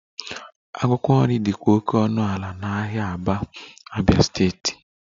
Akwụkwọ nri dịkwa oke ọnụ ala n'ahịa Aba, Abia steeti